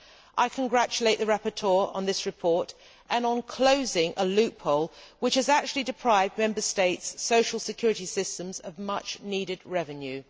I congratulate the rapporteur on this report and on closing a loophole which had been depriving Member States' social security systems of much needed revenue.